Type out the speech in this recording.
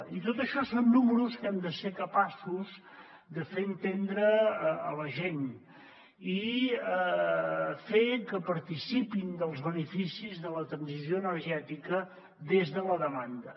i tot això són números que hem de ser capaços de fer entendre a la gent i fer que participin dels beneficis de la transició energètica des de la demanda